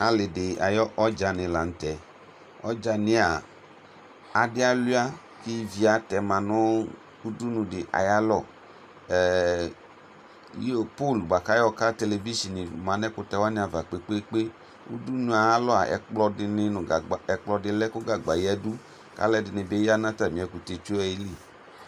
Alidi ayʋ ɔdzani lanʋtɛ ɔdzani yɛa adi aluia kʋ ivi atɛma nʋ ʋdʋnʋdi ayʋ alɔ giyopol bʋakʋ ayɔka televizin manʋ ɛkʋte wani ava kpe kpe kpe ʋdʋnʋ yɛ alɔ ɛkplɔdi lɛ kʋ gagba yadʋ kʋ alʋɛdini bi yanʋ atami ɛkʋtɛtso wanili